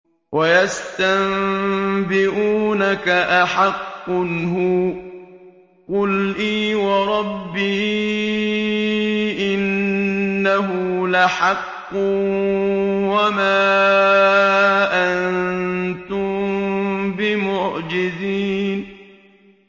۞ وَيَسْتَنبِئُونَكَ أَحَقٌّ هُوَ ۖ قُلْ إِي وَرَبِّي إِنَّهُ لَحَقٌّ ۖ وَمَا أَنتُم بِمُعْجِزِينَ